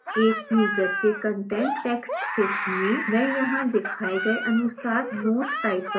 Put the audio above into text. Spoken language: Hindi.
एक यूजर के content text क्षेत्र में मैं यहाँ दिखाए गए अनुसार note type करूँगी